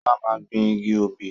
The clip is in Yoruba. Sola máa gbìn igi obì